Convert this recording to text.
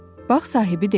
Bağ sahibi dedi.